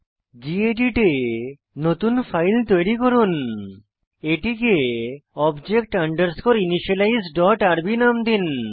gedit এ নতুন file তৈরি করুন এটিকে object underscore initialise dot rb নাম দিন